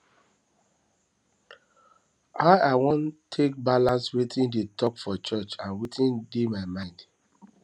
how i wan take balance wetin dem talk for church and wetin dey my mind